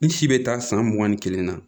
N si bɛ taa san mugan ni kelen na